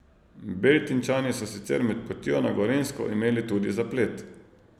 Beltinčani so sicer med potjo na Gorenjsko imeli tudi zaplet.